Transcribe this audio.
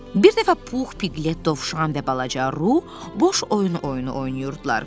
Bir dəfə Pux, Piglet, Dovşan və balaca Ru boş oyun oyunu oynayırdılar.